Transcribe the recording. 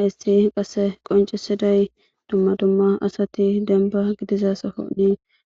Hayssi qasse qoncisiday dumma dumma asati denba gidiza sooni